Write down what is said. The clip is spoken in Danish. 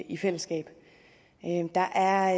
i fællesskab der er